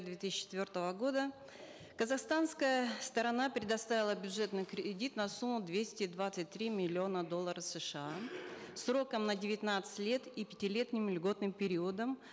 две тысячи четвертого года казахстанская сторона предоставила бюджетный кредит на сумму двести двадцать три миллиона долларов сша сроком на девятнадцать лет и пятилетним льготным периодом